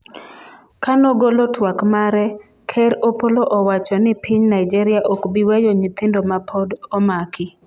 kanogolo twak mare, ker Opollo Owacho ni piny Nigeria ok bi weyo nyithindo ma pod omaki